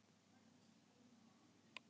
Já, ég væri til í það.